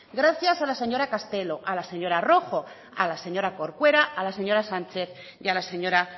gracias a la señora castelo a la señora rojo a la señora corcuera a la señora sánchez y a la señora